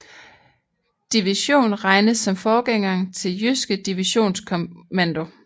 Division regnes som forgængeren til Jyske Divisionskommando